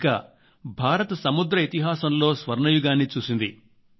ఇంకా భారత్ సముద్ర ఇతిహాసంలో స్వర్ణయుగాన్ని చూసింది